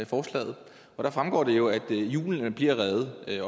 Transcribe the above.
forslaget der fremgår det jo at julen bliver reddet og at